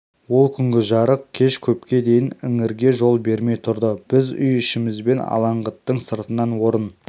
ол күнгі жарық кеш көпке дейін іңірге жол бермей тұрды біз үй ішімізбен алаңғыттың сыртынан орын